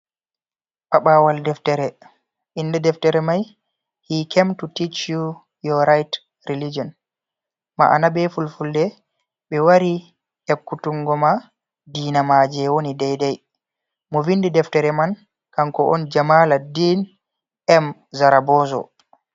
Paɓawal deftere, inde deftere mai hikemtu tich yo yowa rait relijion, ma'ana be fulfulde, ɓe wari ekkutungoma ngoma dinamaje woni daidai, mo vindi deftere man kanko on jamala den m zarabozo.